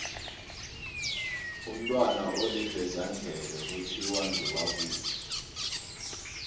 umntwana olivezandlebe kuthiwa ngewakuphi